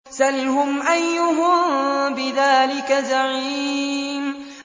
سَلْهُمْ أَيُّهُم بِذَٰلِكَ زَعِيمٌ